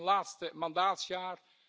Het is mijn laatste mandaatsjaar.